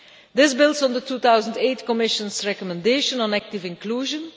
This builds on the 2008 Commission's recommendation on active inclusion.